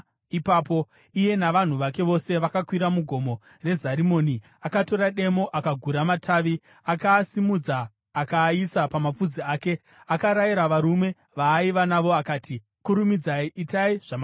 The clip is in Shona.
Iye navanhu vake vose vakakwira muGomo reZarimoni. Akatora demo akagura matavi, akaasimudza akaaisa pamapfudzi ake. Akarayira varume vaaiva navo akati, “Kurumidzai! Itai zvamandiona ndichiita!”